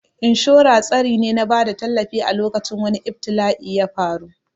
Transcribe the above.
Inshora tsari ne na bada tallafi a lokacin wani ibtila'i yafaru